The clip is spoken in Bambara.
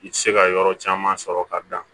I tɛ se ka yɔrɔ caman sɔrɔ ka dan